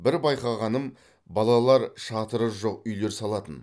бір байқағаным балалар шатыры жоқ үйлер салатын